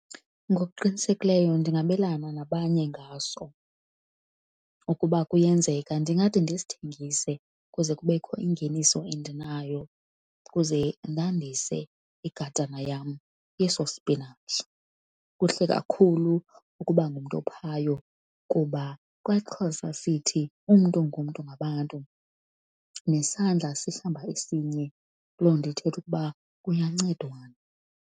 Ngokuqinisekileyo ndingabelana nabanye ngaso, okuba kuyenzeka ndingade ndisithengise kuze kubekho ingeniso endinayo ukuze ndandise igadana yam yeso sipinatshi. Kuhle kakhulu ukuba ngumntu ophayo kuba kwaXhosa sithi umntu ngumntu ngabantu nesandla sihlamba esinye, loo nto ithetha ukuba kuyancedwana.